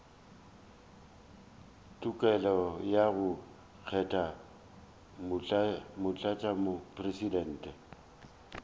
tokelo ya go kgetha motlatšamopresidente